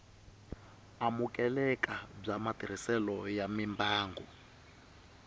amukeleka bya matirhiselo ya mimbangu